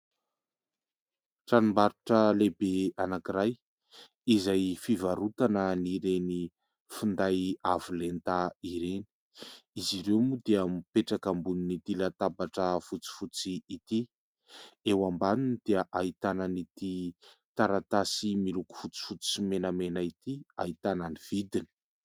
Tranom-barotra lehibe anankiray izay fivarotana an'ireny finday avo lenta ireny. Izy ireo moa dia mipetraka ambonin'ity latabatra fotsifotsy ity. Eo ambaniny dia ahitana an'ity taratasy miloko fotsifotsy sy menamena ity ahitana ny vidiny.